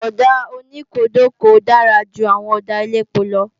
Ọ̀dà oníkódokòo dára ju àwọn ọ̀dà elépo lọ